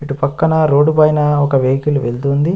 ఇటు పక్కన రోడ్డు పైన ఒక వెహికల్ వెళ్తుంది.